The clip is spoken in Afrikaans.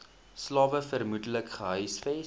slawe vermoedelik gehuisves